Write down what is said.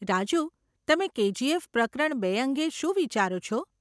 રાજૂ, તમે કેજીએફ પ્રકરણ બે અંગે શું વિચારો છો?